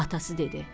Atası dedi: